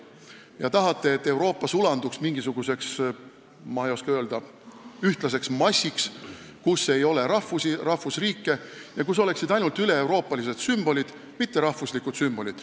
Te tahate, et Euroopa sulanduks mingisuguseks ühtlaseks massiks, kus ei ole rahvusi ega rahvusriike, ja kus oleksid ainult üleeuroopalised sümbolid, mitte rahvuslikud sümbolid.